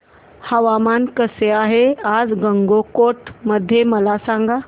हवामान कसे आहे आज गंगटोक मध्ये मला सांगा